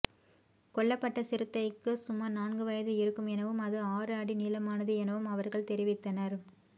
கொள்ளப்பட்ட சிறுத்தைக்கு சுமார் நான்கு வயது இருக்கும் எனவும் அது ஆறு அடி நீளமானது எனவும் அவர்கள் தெரிவித்தனர்